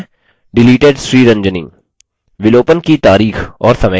इस पर कर्सर धुमाएँ और हम मैसेज देखते हैं